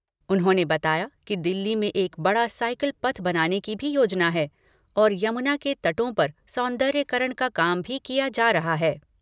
उन्होंने बताया कि दिल्ली में एक बड़ा साईकल पथ बनाने की भी योजना है और यमुना के तटों पर सौंदर्यकरण का काम भी किया जा रहा है।